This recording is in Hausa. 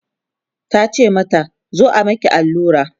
tace mata "zo a Miki allura?